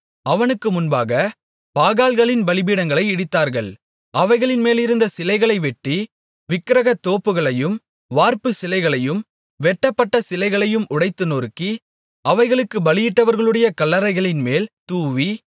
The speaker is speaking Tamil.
அவனுக்கு முன்பாகப் பாகால்களின் பலிபீடங்களை இடித்தார்கள் அவைகளின்மேலிருந்த சிலைகளை வெட்டி விக்கிரகத் தோப்புகளையும் வார்ப்பு சிலைகளையும் வெட்டப்பட்ட சிலைகளையும் உடைத்து நொறுக்கி அவைகளுக்கு பலியிட்டவர்களுடைய கல்லறைகளின்மேல் தூவி